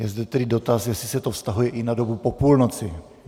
Je zde tedy dotaz, jestli se to vztahuje i na dobu po půlnoci.